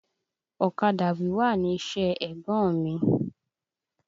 Ọ̀kadà wíwà ni iṣẹ́ ẹ̀gbọ́n mi.